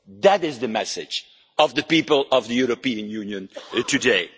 That is the message of the people of the European Union today.